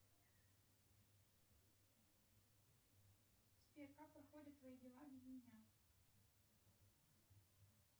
сбер как проходят твои дела без меня